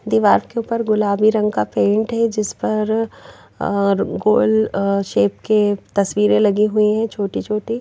दीवार से ऊपर गुलाबी रंग का पेंट है जिस पर गोल शेप के तस्वीरें लगी हुई हैं छोटी छोटी।